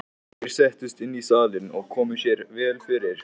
Þeir settust inn í salinn og komu sér vel fyrir.